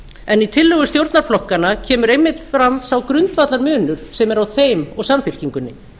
en í tillögu stjórnarflokkanna kemur einmitt fram sá grundvallarmunur sem er á þeim og samfylkingunni